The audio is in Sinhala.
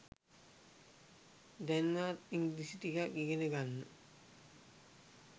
දැන්වත් ඉංග්‍රීසි ටිකක් ඉගෙන ගන්න.